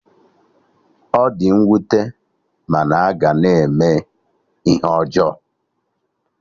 Ọ di nwute mana a ga na-eme ihe ọjọọ